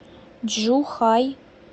чжухай